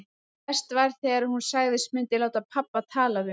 Verst var þegar hún sagðist myndu láta pabba tala við mig.